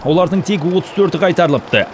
олардың тек отыз төрті қайтарылыпты